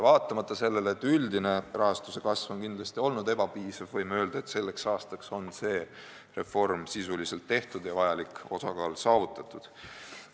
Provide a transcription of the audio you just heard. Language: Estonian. Vaatamata sellele, et üldine rahastuse kasv on kindlasti olnud ebapiisav, võime öelda, et selleks aastaks on see reform sisuliselt tehtud ja vajalik osakaal saavutatud.